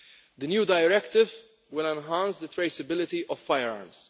The new directive will enhance the traceability of firearms.